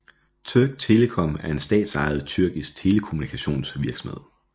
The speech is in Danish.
Türk Telekom er en statsejet tyrkisk telekommunikationsvirksomhed